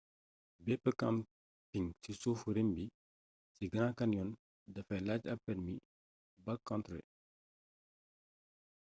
bepp camping ci suufu rim bi ci grand canyon dafay laaj ab permi backcountry